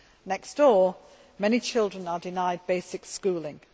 Next door, many children are denied basic schooling.